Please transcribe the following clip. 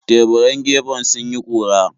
Teburan gefen sun yi ƙura.